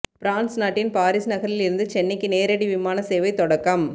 France நாட்டின் Paris நகரில் இருந்து சென்னைக்கு நேரடி விமான சேவை தொடக்கம்